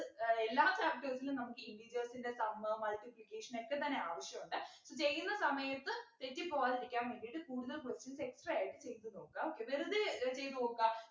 വരെ എല്ലാ chapters ലും നമുക്ക് integers ൻ്റെ sum multiplication ഒക്കെതന്നെ ആവശ്യമുണ്ട് ചെയ്യുന്ന സമയത്ത് തെറ്റിപോകാതിരിക്കാൻ വേണ്ടിട്ട് കൂടുതൽ questions extra ആയിട്ട് ചെയ്തു നോക്കാ വെറുതെ ഏർ ചെയ്തു നോക്ക